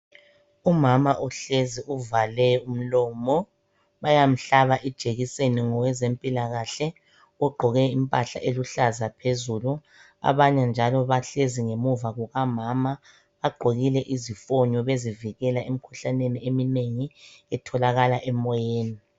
Umama uhlezi uvale umlomo. Bayamhlaba ijekiseni ngowezempilakahle. Ugqoke impahla eluhlaza phezulu. Abanye njalo bahlezi ngemuva kukamama, bagqokile izifonyo bezivikela emikhuhlaneni eminengi etholakala emoyeni.